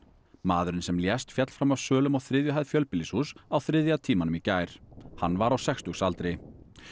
maðurinn sem lést féll fram af svölum á þriðju hæð fjölbýlishúss á þriðja tímanum í gær hann var á sextugsaldri